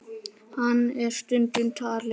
Hann er stundum talinn